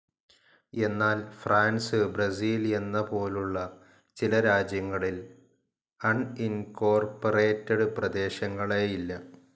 എന്നാൽ France, Brazil എന്ന പോലുള്ള ചില രാജ്യങ്ങളിൽ അണിൻകോർപ്പറേറ്റഡ്‌ പ്രദേശങ്ങളേയില്ല.